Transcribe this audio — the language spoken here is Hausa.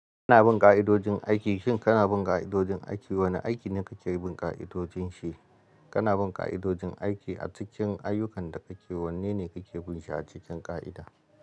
Kana bin ƙa'idojin aiki, shin kana bin ƙa'idojin aiki? Wane aiki ne kake bin ƙa'idojin shi? Kana bin ƙa'idojin aiki a cikin ayyukan da kake, wanne ne kake bin shi a cikin ƙa'ida?